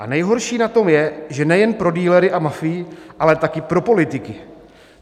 A nejhorší na tom je, že nejen pro dealery a mafii, ale taky pro politiky.